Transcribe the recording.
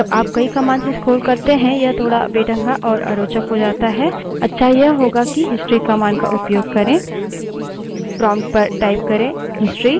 लेकिन जब आप कई commands से scroll करते हैं यह थोड़ बेढंगा और अरोचक हो जाता है अच्छा यह होगा कि history commands का उपयोग करें